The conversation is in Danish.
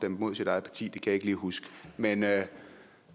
imod sit eget parti det kan jeg ikke lige huske men